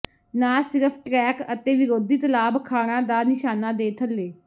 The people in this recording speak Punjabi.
ਨਾ ਸਿਰਫ ਟਰੈਕ ਅਤੇ ਵਿਰੋਧੀ ਤਲਾਬ ਖਾਣਾ ਦਾ ਨਿਸ਼ਾਨਾ ਦੇ ਥੱਲੇ